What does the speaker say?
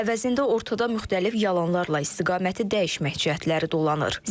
Əvəzində ortada müxtəlif yalanlarla istiqaməti dəyişmək cəhətləri dolanır.